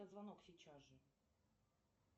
звонок сейчас же